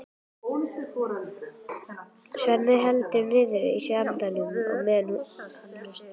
Svenni heldur niðri í sér andanum á meðan hann hlustar.